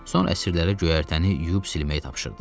Sonra əsirlərə göyərtəni yuyub silməyi tapşırdı.